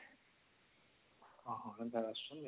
ହଁ ହଁ